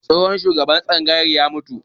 Tsohon shugaban tsangayar ya mutu